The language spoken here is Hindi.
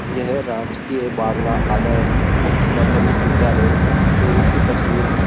यह राजकीय बाघला आदर्श उच्च माध्यमिक विद्यालय चुरू की तस्वीर है।